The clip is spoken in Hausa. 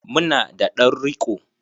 Mu na da ɗan riko.